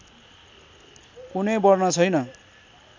कुनै वर्ण छैन